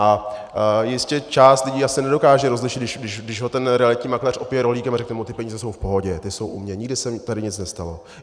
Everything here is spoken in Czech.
A jistě část lidí asi nedokáže rozlišit, když ho ten realitní makléř opije rohlíkem a řekne mu: Ty peníze jsou v pohodě, ty jsou u mě, nikdy se mi tady nic nestalo.